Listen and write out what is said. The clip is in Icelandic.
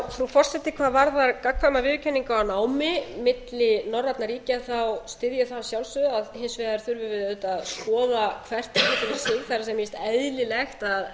frú forseti hvað varðar gagnkvæma viðurkenningu á námi milli norrænna ríkja styð ég það að sjálfsögðu hins vegar þurfum við auðvitað að skoða hvert xxx fyrir sig það er mér finnst eðlilegt